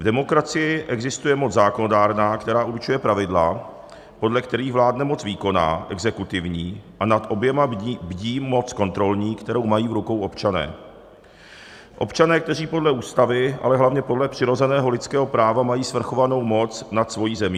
V demokracii existuje moc zákonodárná, která určuje pravidla, podle kterých vládne moc výkonná, exekutivní, a nad oběma bdí moc kontrolní, kterou mají v rukou občané, občané, kteří podle ústavy, ale hlavně podle přirozeného lidského práva mají svrchovanou moc nad svojí zemí.